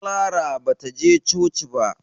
Clara ba ta je coci ba.